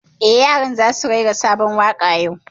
Eh, yaran za su rera sabon waƙa yau